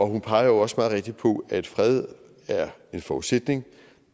hun peger jo også meget rigtigt på at fred er en forudsætning